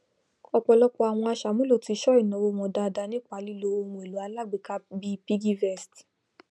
ọpọlọpọ àwọn aṣàmúlò ti sọ ìnawó wọn dáadáa nípa lilo ohunèlò alágbéka bíi cs] piggyvest